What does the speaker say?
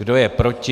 Kdo je proti?